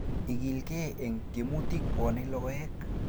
Ikilgei eng tiemutik pwoni logoek